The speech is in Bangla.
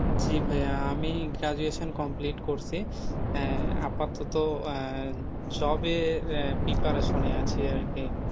জি ভাইয়া আমি graduation complete করছি আহ আপাততো আহ job এর preparation এ আছি আরকি,